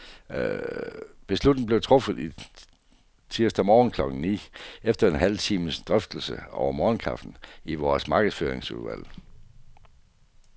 Beslutningen blev truffet tirsdag morgen klokken ni, efter en halv times drøftelse over morgenkaffen i vores markedsføringsudvalg.